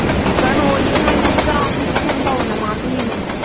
কারণ ওই সময় টকু তো আমি তো ফন পাবো না মা তো নিয়ে নেবে